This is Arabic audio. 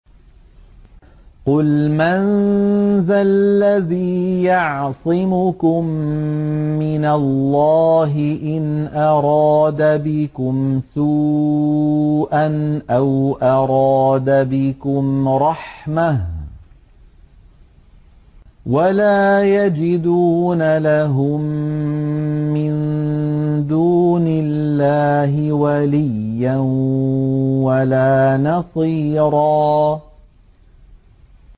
قُلْ مَن ذَا الَّذِي يَعْصِمُكُم مِّنَ اللَّهِ إِنْ أَرَادَ بِكُمْ سُوءًا أَوْ أَرَادَ بِكُمْ رَحْمَةً ۚ وَلَا يَجِدُونَ لَهُم مِّن دُونِ اللَّهِ وَلِيًّا وَلَا نَصِيرًا